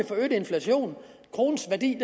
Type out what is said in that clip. få øget inflation kronens værdi